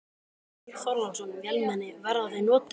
Björn Þorláksson: Vélmenni, verða þau notuð?